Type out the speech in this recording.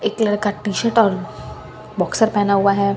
एक लड़का T shirt और बॉक्सर पहना हुआ हैं।